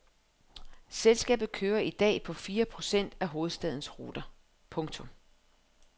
Selskabet kører i dag på fire procent af hovedstadens ruter. punktum